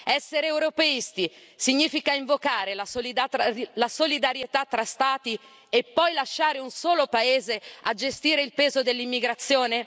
Essere europeisti significa invocare la solidarietà tra Stati e poi lasciare un solo Paese a gestire il peso dell'immigrazione?